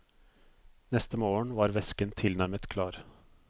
Neste morgen var væsken tilnærmet klar.